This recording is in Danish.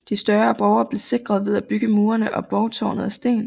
De større borge blev sikret ved at bygge murene og borgtårnet af sten